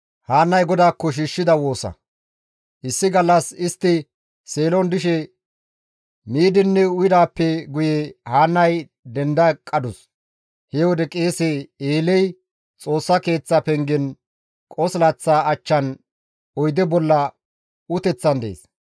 Issi gallas istti Seelon dishe miidinne uyidaappe guye Haannay denda eqqadus. He wode qeese Eeley Xoossa Keeththa pengen qosilaththa achchan oyde bolla uteththan dees.